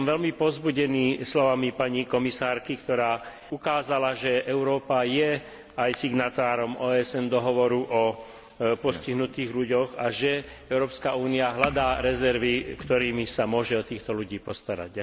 Som veľmi povzbudený slovami pani komisárky, ktorá ukázala, že Európa je aj signatárom dohovoru OSN o postihnutých ľuďoch a že Európska únia hľadá rezervy, s ktorými sa môže o týchto ľudí postarať.